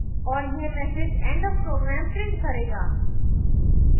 और यह message end of program print करेगा